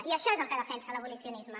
i això és el que defensa l’abolicionisme